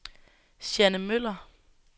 Jeanne Møller